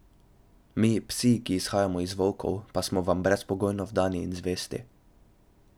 Mi, psi, ki izhajamo iz volkov, pa smo vam brezpogojno vdani in zvesti.